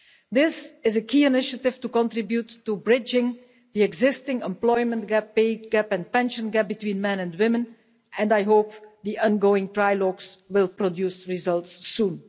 This is a key initiative to contribute to bridging the existing employment gap, pay gap and pension gap between men and women, and I hope the ongoing trilogues will produce results soon.